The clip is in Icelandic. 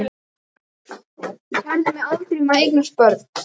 Ég kærði mig aldrei um að eignast börn.